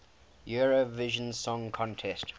eurovision song contest